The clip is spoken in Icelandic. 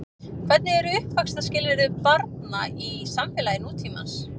Hvernig eru uppvaxtarskilyrði barna í samfélagi nútímans?